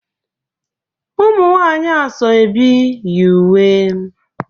umunwanyi asoebi yi uwe